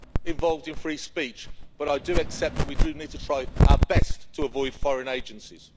involved in free speech, but I do accept that we need to try our best to avoid foreign agencies.